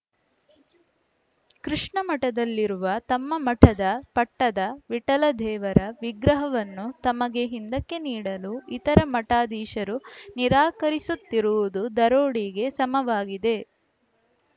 ಕೃಷ್ಣ ಮಠದಲ್ಲಿರುವ ತಮ್ಮ ಮಠದ ಪಟ್ಟದ ವಿಠಲ ದೇವರ ವಿಗ್ರಹವನ್ನು ತಮಗೆ ಹಿಂದಕ್ಕೆ ನೀಡಲು ಇತರ ಮಠಾಧೀಶರು ನಿರಾಕರಿಸುತ್ತಿರುವುದು ದರೋಡೆಗೆ ಸಮವಾಗಿದೆ